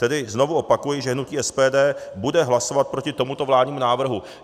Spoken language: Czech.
Tedy znovu opakuji, že hnutí SPD bude hlasovat proti tomuto vládnímu návrhu.